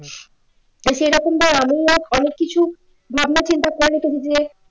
আমি না অনেক কিছুই ভাবনা চিন্তা